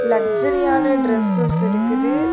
லக்ஸ்ஸரியான dresses இருக்குது.